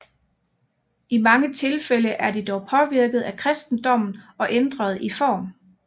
I mange tilfælde er de dog påvirket af kristendommen og ændret i form